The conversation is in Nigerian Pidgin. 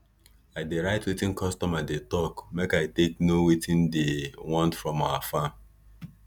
i dey write wetin customer dey talk make i take know wetin diy want from our farm